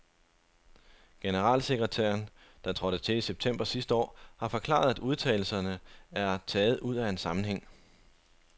Generalsekretæren, der trådte til i september sidste år, har forklaret, at udtalelserne er taget ud af en sammenhæng.